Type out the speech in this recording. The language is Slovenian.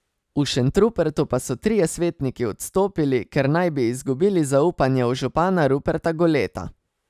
V Šentrupertu pa so trije svetniki odstopili, ker naj bi izgubili zaupanje v župana Ruperta Goleta.